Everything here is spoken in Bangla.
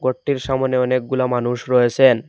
গরটির সামনে অনেকগুলা মানুষ রয়েসেন।